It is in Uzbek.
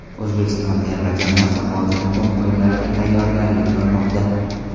O‘zbekiston terma jamoasi hozir muhim o‘yinlarga tayyorgarlik ko‘rmoqda.